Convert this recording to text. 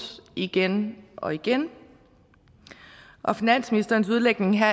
igen og igen og finansministerens udlægning her